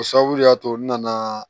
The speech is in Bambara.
O sababu de y'a to n nana